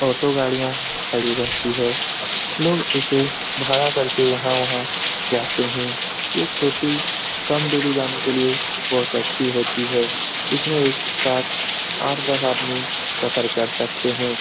Auto गाड़ियाँ खड़ी रहती है। लोग इसे भाड़ा कर के यहाँ वहाँ जाते है। ये छोटी कम दूरी जाने के लिए बहुत अच्छी होती हैं । इसमें एक साथ आठ दस आदमी सफर कर सकते हैं ।